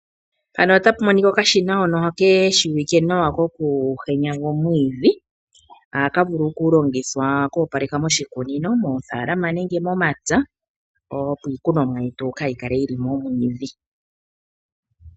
Mpano ota pu monika okashina hono keshiwike nawa kokuhenyaga omwiidhi, haka vulu okulongithwa oku opaleka moshikunino, mofalama nenge momapya opo iikunomwa yetu kayi kale yili momwiidhi.